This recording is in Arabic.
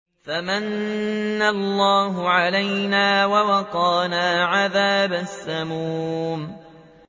فَمَنَّ اللَّهُ عَلَيْنَا وَوَقَانَا عَذَابَ السَّمُومِ